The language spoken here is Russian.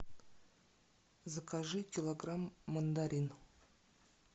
закажи килограмм мандарин